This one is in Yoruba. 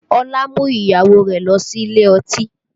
Ọlá mú ìyàwó rẹ̀ lọ sí ilé ọtí